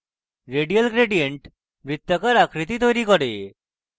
radial gradient বৃত্তাকার আকৃতি তৈরী করে